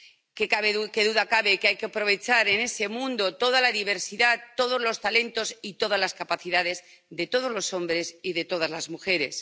Qué duda cabe de que hay que aprovechar, en ese mundo, toda la diversidad, todos los talentos y todas las capacidades de todos los hombres y de todas las mujeres.